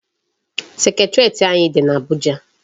Secretariat anyị dị n'Abuja.